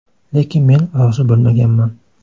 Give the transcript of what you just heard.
Lekin men rozi bo‘lmaganman.